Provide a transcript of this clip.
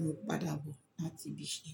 mo ń padà bọ̀ láti ibi iṣẹ́.